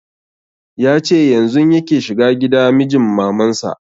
Ya ce yanzun yake shiga gida mijin maman sa